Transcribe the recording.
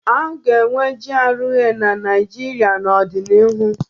A ga-enwe GRA na Naijiria n'ọdịnihu.